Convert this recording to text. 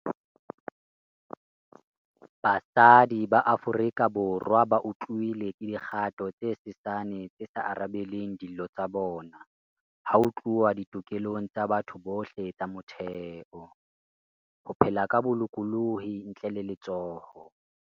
Basadi ba Aforika Borwa bautlwile ke dikgato tse sesane tse sa arabeleng dillo tsa bona ha ho tluwa ditokelong tsa batho bohle tsa motheo - ho phela ka bo-lokolohi ntle le letshoho.